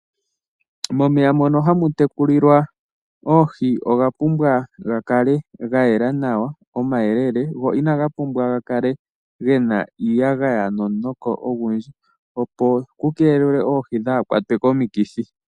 Momeya mono hamu tekulilwa oohi oga pumbwa ga kale ga yela nawa, omayelele go inaga pumbwa ga kale ge na iiyagaya nomunoko ogundji, opo ku keelelwe oohi dhaa kwatwe komikithi.